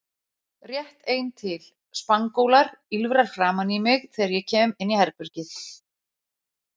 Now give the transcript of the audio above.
Rétt ein til: Spangólar, ýlfrar framan í mig þegar ég kem inn í herbergið